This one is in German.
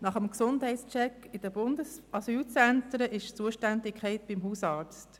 Nach dem Gesundheitscheck in den Bundesasylzentren liegt die Zuständigkeit beim Hausarzt.